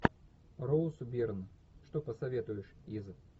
роуз бирн что посоветуешь из